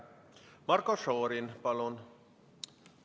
Marko Šorin, palun!